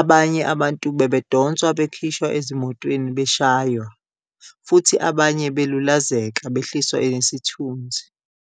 abanye abantu babedonswa bekhishwa ezimotweni beshaywa, futhi abanye balulazeka behliswa nesithunzi.